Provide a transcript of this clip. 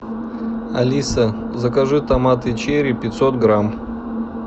алиса закажи томаты черри пятьсот грамм